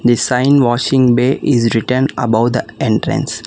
The sign washing bay is written above the entrance.